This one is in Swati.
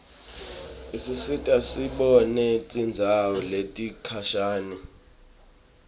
isisita sibone tindzawo letikhashane